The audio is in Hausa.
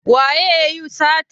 Waye yayi satar?